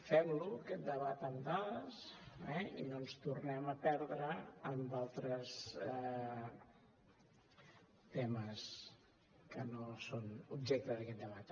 fem lo aquest debat amb dades eh i no ens tornem a perdre en altres temes que no són objecte d’aquest debat